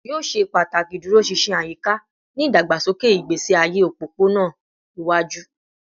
Yoo ṣe pataki iduroṣinṣin ayika ni idagbasoke igbesi aye opopona iwaju